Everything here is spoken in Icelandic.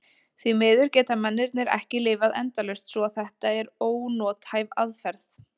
Því miður geta mennirnir ekki lifað endalaust svo að þetta er ónothæf aðferð.